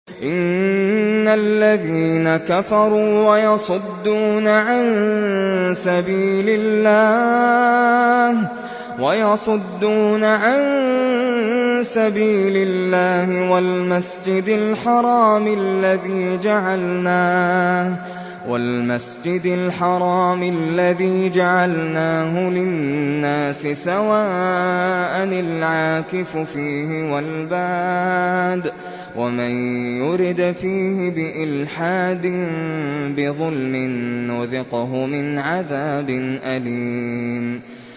إِنَّ الَّذِينَ كَفَرُوا وَيَصُدُّونَ عَن سَبِيلِ اللَّهِ وَالْمَسْجِدِ الْحَرَامِ الَّذِي جَعَلْنَاهُ لِلنَّاسِ سَوَاءً الْعَاكِفُ فِيهِ وَالْبَادِ ۚ وَمَن يُرِدْ فِيهِ بِإِلْحَادٍ بِظُلْمٍ نُّذِقْهُ مِنْ عَذَابٍ أَلِيمٍ